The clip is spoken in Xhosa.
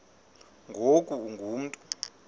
ngoku ungu mntu